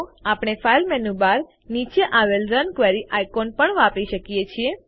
આપણે file menu bar નીચે આવેલ રન ક્વેરી આઇકોન પણ વાપરી શકીએ છીએ